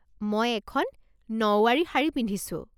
মই এখন নউৱাৰী শাৰী পিন্ধিছোঁ।